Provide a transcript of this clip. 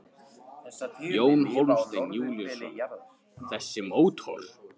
Jón Hólmsteinn Júlíusson: Þessi mótor?